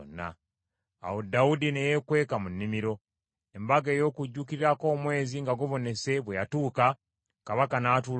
Awo Dawudi ne yeekweka mu nnimiro. Embaga ey’okujuukirirako omwezi nga gubonese bwe yatuuka, kabaka n’atuula okulya.